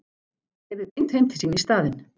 Keyrði beint heim til sín í staðinn.